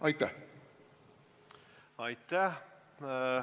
Aitäh!